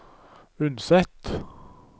Unset